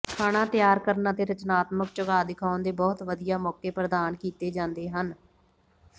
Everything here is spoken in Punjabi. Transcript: ਖਾਣਾ ਤਿਆਰ ਕਰਨ ਅਤੇ ਰਚਨਾਤਮਕ ਝੁਕਾਅ ਦਿਖਾਉਣ ਦੇ ਬਹੁਤ ਵਧੀਆ ਮੌਕੇ ਪ੍ਰਦਾਨ ਕੀਤੇ ਜਾਂਦੇ ਹਨ